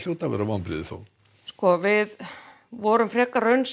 vonbrigði sko við vorum frekar raunsæ